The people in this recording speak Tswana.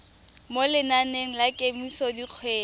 mo lenaneng la kemiso dikgwedi